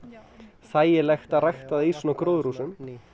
þægileg að rækta í svona gróðurhúsum